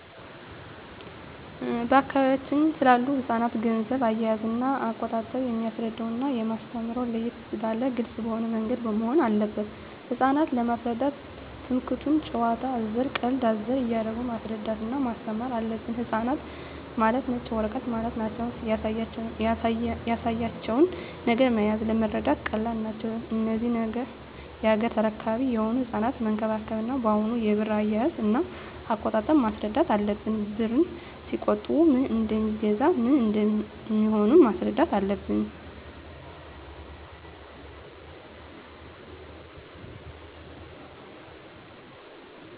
በአካባቢያችን ስላሉ ህጻናት ገንዘብ አያያዝና አቆጣጠብ የማስረዳውና የማስተምረው ለየት ባለና ግልጽ በሆነ ምንገድ መሆን አለበት ህጻናት ለመሰረዳት ትምክህቱን ጭዋታ አዘል ቀልድ አዘል እያረጉ ማስረዳት እና ማስተማር አለብን ህጻናት ማለት ነጭ ወረቀት ማለት ናቸው ያሳያቸው ነገር መያዝ ለመረዳት ቀላል ናቸው እነዚህ ነገ ያገሬ ተረካቢ የሆኑ ህጻናትን መንከባከብ እና አሁኑ የብር አያያዥ እና አቆጣጠብ ማስረዳት አለብን ብርን ሲቆጥቡ ምን እደሜገዛ ምን እንደሚሆኑም ማስረዳት አለብን